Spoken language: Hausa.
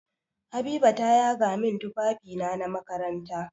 Habiba ta yaga min tufafina na makaranta.